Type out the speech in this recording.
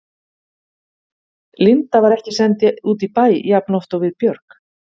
Linda var ekki send út í bæ jafnoft og við Björg.